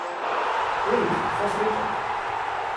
Elvis, vso srečo!